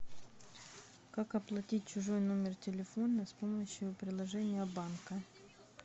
как оплатить чужой номер телефона с помощью приложения банка